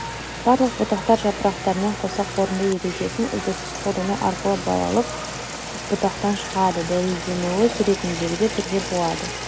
барлық бұтақтар жапырақтармен қоса қорытынды ережесін үздіксіз қолдану арқылы балалық бұтақтан шығады дәлелденуі суретіндегідей түрде болады